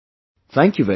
Thank you very much